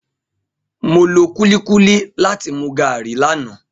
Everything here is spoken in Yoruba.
Mo lo kulikuli lati mu garri lana.